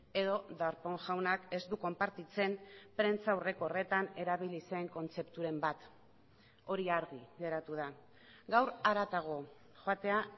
edo darpón jaunak ez du konpartitzen prentsa aurreko horretan erabili zen kontzepturen bat hori argi geratu da gaur haratago joatea